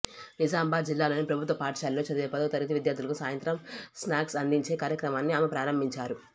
నిజామాబాద్ జిల్లాలోని ప్రభుత్వ పాఠశాలల్లో చదివే పదో తరగతి విద్యార్థులకు సాయంత్రం స్నాక్స్ అందించే కార్యక్రమాన్ని ఆమె ప్రారంభించారు